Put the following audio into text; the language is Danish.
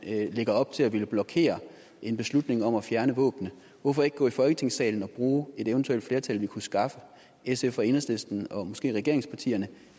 lægger op til at ville blokere en beslutning om at fjerne våbnene hvorfor ikke gå i folketingssalen og bruge et eventuelt flertal vi kunne skaffe sf og enhedslisten og måske regeringspartierne